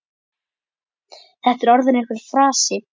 Þetta er orðinn einhver frasi.